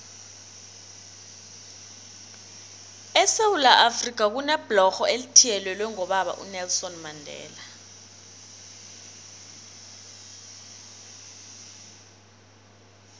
esewula afrika kunebhlorho elithiyelelwe ngobaba unelson mandela